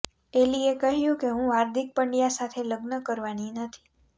એલીએ કહ્યું કે હું હાર્દિક પંડ્યા સાથે લગ્ન કરવાની નથી